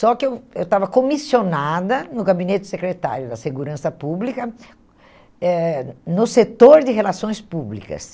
Só que eu eu estava comissionada no gabinete secretário da segurança pública, eh no setor de relações públicas.